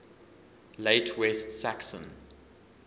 late west saxon